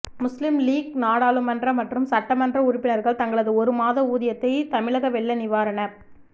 முஸ்லிம் லீக் நாடாளுமன்ற மற்றும் சட்டமன்ற உறுப்பினர்கள் தங்களது ஒரு மாத ஊதியத்தை தமிழக வெள்ள நிவாரணப்